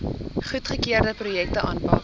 goedgekeurde projekte aanpak